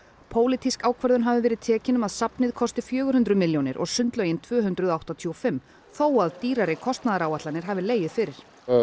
pólitísk ákvörðun hafi verið tekin um að safnið kosti fjögur hundruð milljónir og sundlaugin tvö hundruð áttatíu og fimm þó að dýrari kostnaðaráætlanir hafi legið fyrir